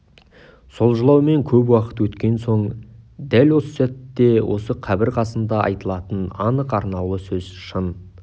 сол жылаумен көп уақыт өткен соң енді дәл осы сәтте осы қабір қасында айтылатын анық арнаулы сөз шын